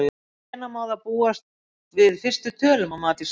En hvenær má þá búast við fyrstu tölum að mati Sveins?